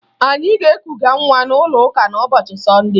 Anyị ga-ekuga nwa n'ụlọụka n'ụbọchị Sọnde